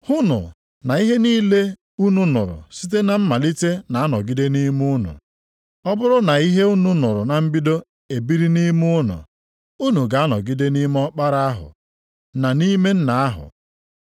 Hụnụ na ihe unu nụrụ site na mmalite na-anọgide nʼime unu. Ọ bụrụ na ihe unu nụrụ na mbido ebiri nʼime unu, unu ga-anọgide nʼime Ọkpara ahụ na nʼime Nna ahụ.